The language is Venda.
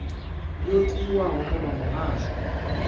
yo tiwaho nga vha muhasho